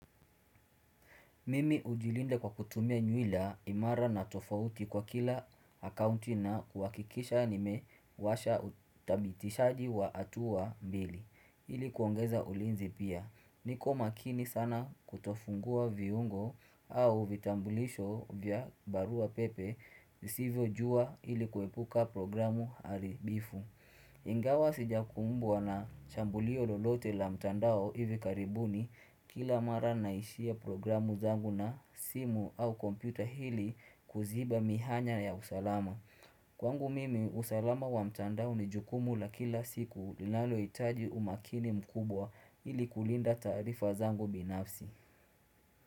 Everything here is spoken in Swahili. Mimi hujilinde kwa kutumia nyuila imara na tofauti kwa kila akaunti na kuwakikisha nimewasha utabitishaji wa hatua mbili. Ili kuongeza ulinzi pia. Niko makini sana kutofungua viungo au vitambulisho vya barua pepe Hivyo jua ili kuepuka programu haribifu. Ingawa sijakumbwa na jambo lile lolote la mtandao hivi karibuni kila mara naishia programu zangu na simu au kompyuta ili kuziba mihanya ya usalama Kwangu mimi usalama wa mtandao ni jukumu la kila siku linalohitaji umakini mkubwa ili kulinda tarifa zangu binafsi.